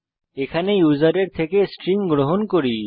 এখানে আমরা ইউসারের থেকে স্ট্রিং গ্রহণ করছি